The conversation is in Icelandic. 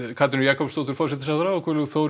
Katrínu Jakobsdóttur forsætisráðherra og Guðlaug Þór